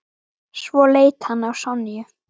Svo leit hann á Sonju.